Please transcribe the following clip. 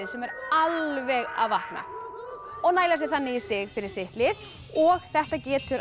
sem er alveg að vakna og næla sér þannig í stig fyrir sitt lið og þetta getur